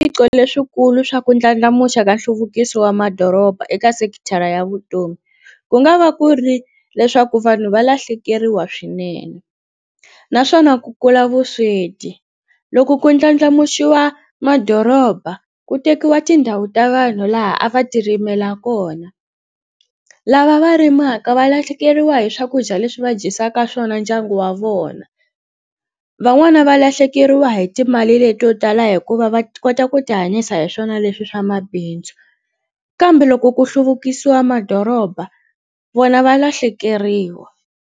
Leswikulu swa ku ndlandlamuxa ka nhluvukiso wa madoroba eka sekithara ya vutomi ku nga va ku ri leswaku vanhu va lahlekeriwa swinene naswona ku kula vusweti loko ku ndlandlamuxiwa madoroba ku tekiwa tindhawu ta vanhu laha a va ti rimela kona lava va rimaka va lahlekeriwa hi swakudya leswi va dyisaka swona ndyangu wa vona van'wana va lahlekeriwa hi timali leto tala hikuva va kota ku ti hanyisa hi swona leswi swa mabindzu kambe loko ku hluvukisiwa madoroba vona va lahlekeriwa.